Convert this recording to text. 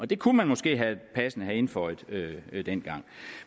det kunne man måske passende have indføjet dengang